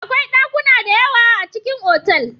Akwai ɗakuna da yawa a cikin otal.